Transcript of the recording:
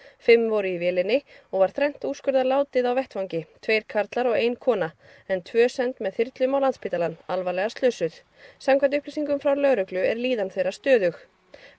fimm voru í vélinni og var þrennt úrskurðað látið á vettvangi tveir karlar og ein kona en tvö send með þyrlum á Landspítalann alvarlega slösuð samkvæmt upplýsingum frá lögreglu er líðan þeirra stöðug